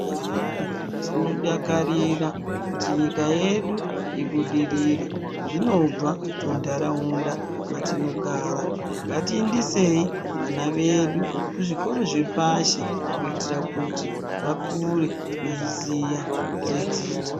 Kudhaya tinodakarira kuti nyika yedu ibudirire. Zvinobva muntaraunda mwatinogara. Ngatiindisei vana vedu kuzvikoro zvepashi kuitira kuti vakure veiziya zvedzidzo.